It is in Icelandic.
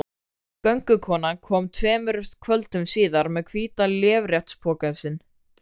Göngukonan kom tveimur kvöldum síðar með hvíta léreftspokann sinn.